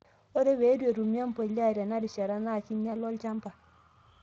ore pee itu etumi embuliya tinarishata NAA kinyala olchamba